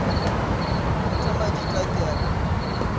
heita majita ke a le